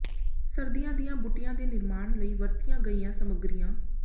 ਸਰਦੀਆਂ ਦੀਆਂ ਬੂਟੀਆਂ ਦੇ ਨਿਰਮਾਣ ਲਈ ਵਰਤੀਆਂ ਗਈਆਂ ਸਮੱਗਰੀਆਂ